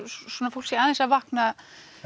fólk sé aðeins að vakna